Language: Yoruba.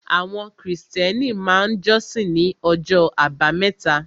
Àwọn Krìstẹ́nì máa jọ́sìn ní ọjọ́ àbámẹ́ta